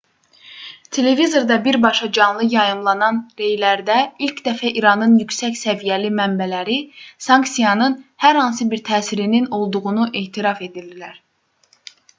televizorda birbaşa canlı yayımlanan rəylərdə ilk dəfə i̇ranın yüksək səviyyəli mənbələri sanksiyasnın hər hansı bir təsirinin olduğunu etiraf etdilər